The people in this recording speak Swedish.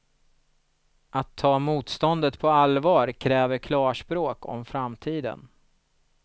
Att ta motståndet på allvar kräver klarspråk om framtiden.